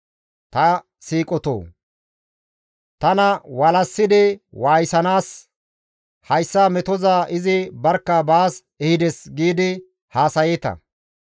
«Ta siiqotoo! Tana walassidi waayisanaas ‹Hayssa metoza izi barkka baas ehides› gidi haasayeeta.